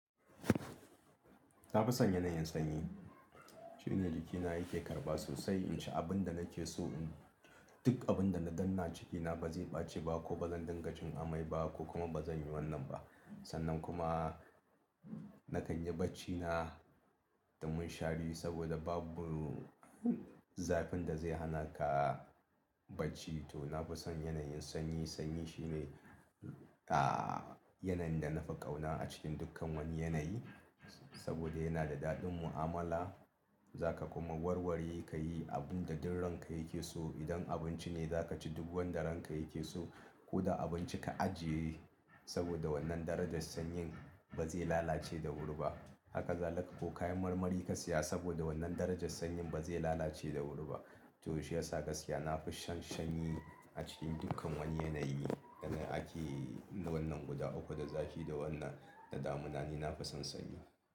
Na fi son yanayin sanyi. Shine jikina yake karɓa sosai, in ci abin da nake so, duk abin da na danna cikina ba zai ɓaci ba ko ba zan dinga jin amai ba ko kuma ba zan yi wannan ba. Sannan kuma na kan yi bacci na da munshari saboda babu zafin da zai hana ka bacci. To na fi son yanayin sanyi. Sanyi shine, ah, yanayin da na fi ƙauna a cikin dukkan wani yanayi saboda yana da daɗin mu'amala. Za ka kuma warware ka yi abin da duk ranka yake so. Idan abinci ne za ka ci duk wanda ranka yake so ko da abinci ka ajiye saboda wannan darajar sanyin ba zai lalace da wuri ba. Haka zalika ko kayan marmari ka saya saboda wannan darajar sanyin ba zai lalace da wuri ba. To shi yasa gaskiya na fi shan sanyi a cikin dukkan wani yanayi da ake wannan guda uku da zafi da wannan da damuna ni na fi son sanyi.